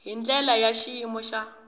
hi ndlela ya xiyimo xa